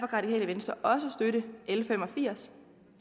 radikale venstre også støtte l fem og firs